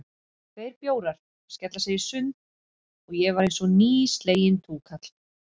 Tveir bjórar, skella sér í sund, og ég var einsog nýsleginn túkall.